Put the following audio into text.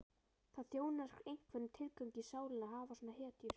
Það þjónar einhverjum tilgangi í sálinni að hafa svona hetjur.